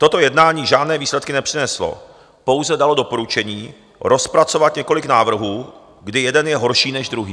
Toto jednání žádné výsledky nepřineslo, pouze dalo doporučení rozpracovat několik návrhů, kdy jeden je horší než druhý.